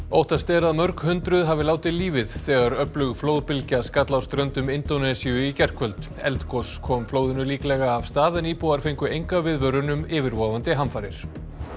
óttast er að mörg hundruð hafi látið lífið þegar öflug flóðbylgja skall á ströndum Indónesíu í gærkvöld eldgos kom flóðinu líklega af stað en íbúar fengu enga viðvörun um yfirvofandi hamfarir